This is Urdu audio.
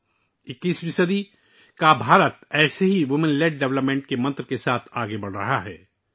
اس طرح اکیسویں صدی کا بھارت خواتین کی قیادت والی ترقی کے منتر کے ساتھ آگے بڑھ رہا ہے